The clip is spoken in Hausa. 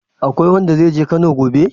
Akwai wanda zai je Kano gobe?